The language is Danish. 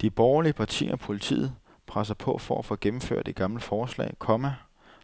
De borgerlige partier og politiet presser på for at få gennemført et gammelt forslag, komma